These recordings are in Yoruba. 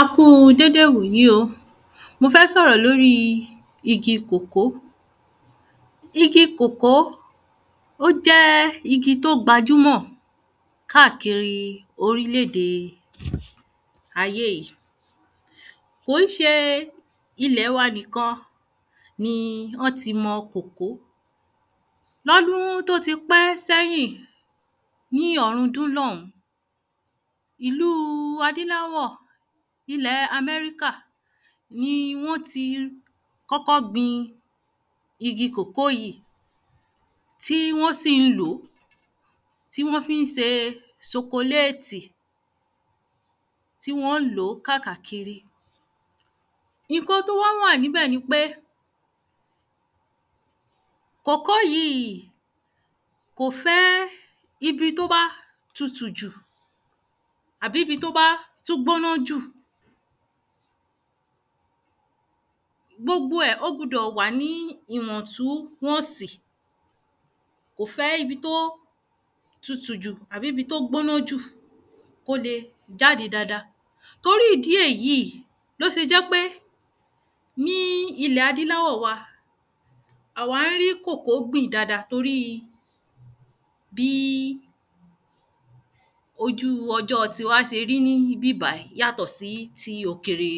A kúu déde wòyí o mo fẹ́ sọ̀rọ̀ lóri igi kòkó igi kòkó ó jẹ́ igi tó gbajúmọ̀ káàkiri orilèdèe ayé yí kò ń ṣe ilẹ̀ wa nìkan ni ọ́ ti mọ kòkó lọ́dún tó ti pẹ́ sẹ́yìn ní ọ̀run dun sẹ́yìn ìlúu adíláwọ̀ ilẹ̀e Aṃẹ́ríkà ni wọ́n ti kọ́kọ́ gbin igi kòkó yíì tí wọ́n sì ń lòó tí wọ́n fí ń se sokoléètì tí wọ́n lòó káàkiri ìnkan tó wá wà níbẹ̀ ni pé kòkó yí í í kò fẹ́ ibi tó bá tutù jù àbí ‘bi tó bá tú gbóná jù gbogbo ẹ̀ ó gbudọ̀ wà ní ìwọ̀ntúwọ̀nsì kò fẹ́ ibi tó tutù jù àbí ibi tó gbóná jù kó le jáde dada torí ìdí èyí í ló fi jẹ́ pé ní ilẹ̀ adíláwọ̀ wa à wá ń rí kòkó gbìn dada toríi bí ojúu ọjọ ti wa se rí ní íbí bàyí yátọ̀ sí ti òkèrè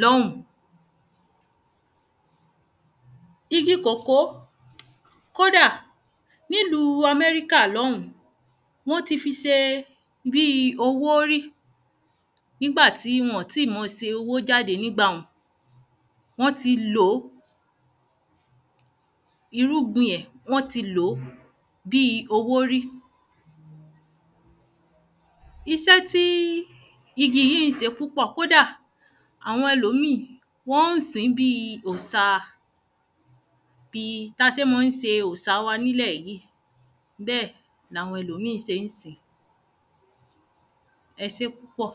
lọ́ún igi kòkó kódà nílúu Aṃẹ́ríkà wọ́n ti fi se bíi owó rí nígba ti wọn tí mọ se owó jáde nígbà hun wọ́n ti lòó irúgbin ẹ̀ wọ́n ti lòó bíi owó rí isẹ́ tí igi yí ń se púpọ̀ kódà àwọn ẹlòmíì wọ́n sìn bíi òsa bi ta sé má ń se òsa wa nílẹ̀ yíì bẹ́ẹ̀ làwọn ẹlòmíì sé ń sín e sé púpọ̀